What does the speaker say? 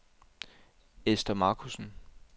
Esther Marcussen